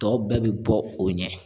Tɔ bɛɛ bɛ bɔ o ɲɛ.